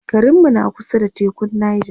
garinmu na kusa da tekun Nija